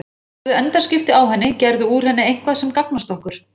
Hafðu endaskipti á henni, gerðu úr henni eitthvað sem gagnast okkur.